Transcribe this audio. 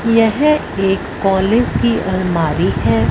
यह एक कॉलेज की अलमारी है।